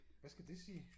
Hvad skal det sige?